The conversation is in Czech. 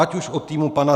Ať už od týmu pana